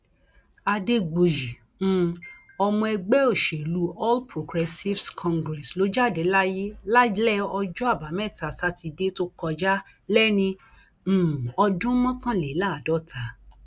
adégbùyí um ọmọ ẹgbẹ òṣèlú all progressives congress ló jáde láyé lálẹ ọjọ àbámẹta sátidé tó kọjá léni um ọdún mọkànléláàádọta